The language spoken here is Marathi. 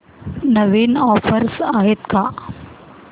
नवीन ऑफर्स आहेत का